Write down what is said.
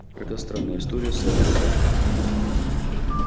это странная история сэр и мадам